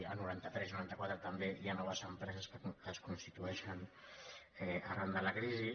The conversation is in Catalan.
el noranta tres i noranta quatre també hi ha noves empreses que es constitueixen arran de la crisi